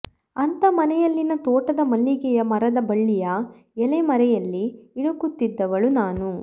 ಅಂಥ ಮನೆಯಲ್ಲಿನ ತೋಟದ ಮಲ್ಲಿಗೆಯ ಮರದ ಬಳ್ಳಿಯ ಎಲೆ ಮರೆಯಲ್ಲಿ ಇಣುಕುತಿದ್ದವಳು ನಾನು